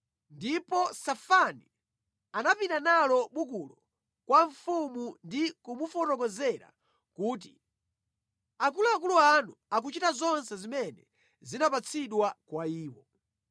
Ndipo Safani anapita nalo bukulo kwa mfumu ndi kumufotokozera kuti: “Akuluakulu anu akuchita zonse zimene zinapatsidwa kwa iwo.